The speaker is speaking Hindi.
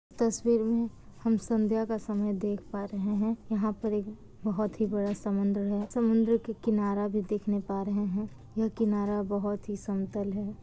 तस्वीर मे हम संध्या समय देख पा रहे हैं यहां पर एक बहुत ही बड़ा समुंदर है समुद्र के किनारा भी देखने पा रहे हैंयह किनारा बहुत ही समतल है।